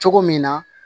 Cogo min na